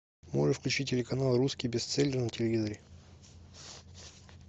можешь включить телеканал русский бестселлер на телевизоре